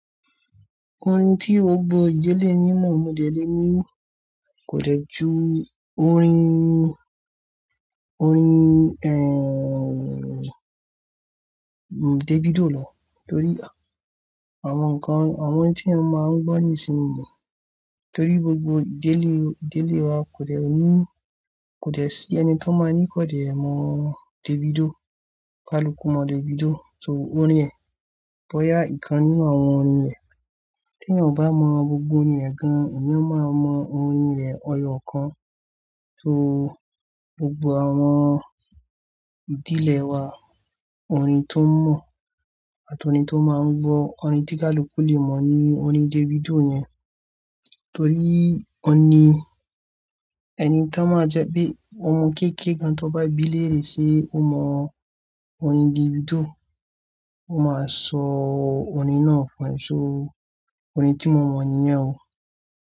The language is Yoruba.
Orin tí gbogbo ìdílé yín mọ̀ mọ̀dẹ́dẹ́ ni kò lè ju orin, orin, eh, Davido lọ torí àwọn nǹkan, àwọn tí a máa ń gbọ́ nísìnyí ni. Torí gbogbo ìdílé, ìdílé wa kò lè ní, kò lè sí ẹni tó máa ní kò lè mọ Davido, kaluku mọ Davido. So orin ẹ̀ bọ́yá ìkan nínú àwọn orin rẹ̀. Tí ẹ bá mọ gbogbo orin rẹ̀ gan-an, èeyan ó máa mọ orin rẹ̀ ẹyọ́ kan. So gbogbo àwọn ìdílé wa, orin tó mọ̀ àti orin tó máa ń gbọ́, orin tí kaluku lè mọ̀ ni orin Davido yẹn. Torí ọ̀ní, ẹni tí a máa jẹ pé ọmọ kéékèé kan tó bá bílẹ̀ rẹ̀ ṣe ó mọ orin Davido. Ó máa sọ orin náà fún ẹ. So orin tí mọ̀ mọ̀ níyen o.